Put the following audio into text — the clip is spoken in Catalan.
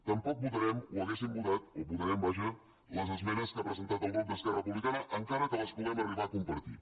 tampoc votarem o haguéssim votat o votarem vaja les esmenes que ha presentat el grup d’esquerra republicana encara que les puguem arribar a compartir